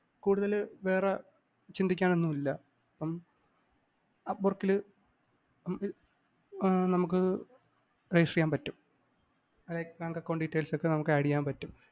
കുടുതല്‍ വേറെ ചിന്തിക്കാനൊന്നുമില്ല. അപ്പം apport ല് ആഹ് നമുക്ക് register ചെയ്യാന്‍ പറ്റും. bank account details ഒക്കെ നമുക്ക് add ചെയ്യാന്‍ പറ്റും.